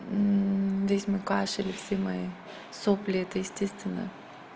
здесь мой кашель и все мои сопли это естественно